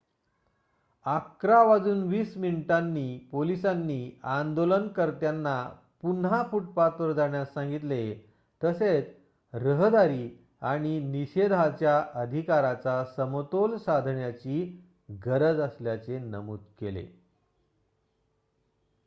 11:20 वाजता पोलिसांनी आंदोलनकर्त्यांना पुन्हा फुटपाथवर जाण्यास सांगितले तसेच रहदारी आणि निषेधाच्या अधिकाराचा समतोल साधण्याची गरज असल्याचे नमूद केले